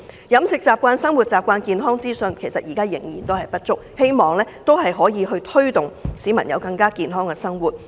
飲食習慣、生活習慣、健康資訊等現時仍然不足，我希望政府可以推動市民實踐健康生活。